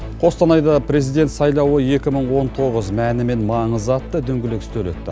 қостанайда президент сайлауы екі мың он тоғыз мәні мен маңызы атты дөңгелек үстел өтті